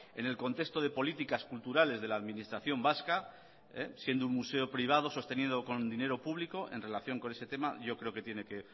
en el contexto de políticas culturales de la administración vasca siendo un museo privado sostenido con dinero público en relación con ese tema yo creo que tiene que